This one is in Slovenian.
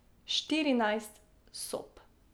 Štirinajst sob.